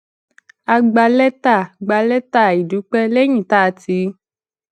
a gba létà gba létà ìdúpé léyìn tá a ti